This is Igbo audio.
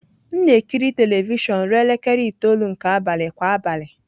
M na-ekiri telivishọn ruo elekere itoolu nke abalị kwa abalị.